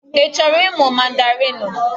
Ị chọrọ ịmụ Mandarinụ?